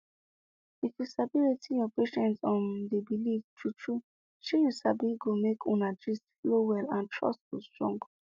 if you sabi wetin your patient um dey believe true true shey you sabi go make una gist flow well and trust go strong